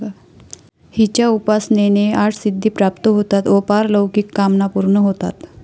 हिच्या उपासनेने आठ सिद्धी प्राप्त होतात व पारलौकिक कामना पूर्ण होतात.